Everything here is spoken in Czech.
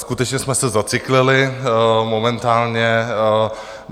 Skutečně jsme se zacyklili momentálně.